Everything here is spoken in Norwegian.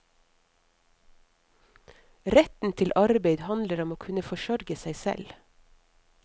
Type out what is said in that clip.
Retten til arbeid handler om å kunne forsørge seg selv.